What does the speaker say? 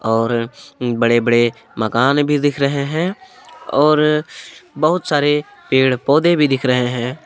और बड़े बड़े मकान भी दिख रहे हैं और बहुत सारे पेड़ पौधे भी दिख रहे हैं।